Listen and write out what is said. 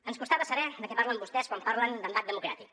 ens costava saber de què parlen vostès quan parlen d’embat democràtic